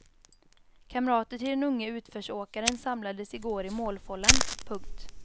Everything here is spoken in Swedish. Kamrater till den unge utförsåkaren samlades i går i målfållan. punkt